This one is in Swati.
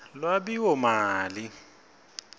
lwabiwomali